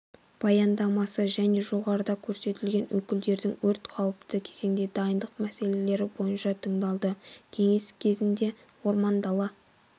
баяндамасы және жоғарыда көрсетілген өкілдердің өрт қауіпті кезеңде дайындық мәселелрі бойынша тыңдалды кеңес кезінде орман-дала